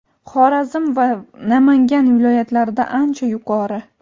Xorazm va Namangan viloyatlarida ancha yuqori.